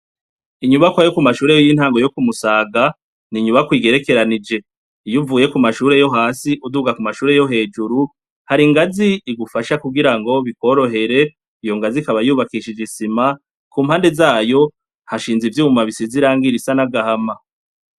Inyubakwa yo ku mashure y'intango yo Kumusaga, ni inyubakwa igerekeranije. Iyo uvuye ku mashure yo hasi uduga ku mashure yo hejuru, hari ingazi igufasha kugirango bikworohere, iyo ngazi ikaba yubakishije isima, ku mpande zayo hashinze ivyuma bisize irangi ry'agahama.